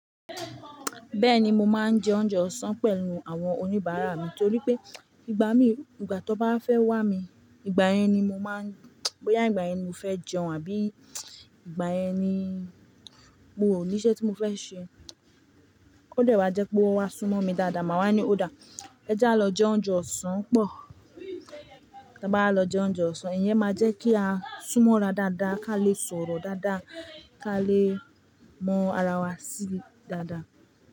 Bẹ́ẹ̀ni, mo máa ń jẹ oúnjẹ ọ̀sán pẹ̀lú àwọn oníbàárà mi torí pé ìgbà mi, ìgbà tí wọ́n bá fẹ́ wà mí, ìgbà yẹn ni mo máa ń boyá, ìgbà yẹn ni mo fẹ́ jẹun àbí ìgbà yẹn ni mo ò ní iṣẹ́ tí mo fẹ́ ṣe. Ó dẹ̀ wá jẹ́ pé wọ́n wá súnmọ́ mi dáadáa, màá wá ní òdà. Ẹ já lọ jẹ oúnjẹ ọ̀sán pọ̀. Tí a bá lọ jẹ oúnjẹ ọ̀sán, ìyẹn máa jẹ́ kí a súnmọ́ra dáadáa, ká lè sọ̀rọ̀ dáadáa, ká lè mọ ara wa sí dáadáa.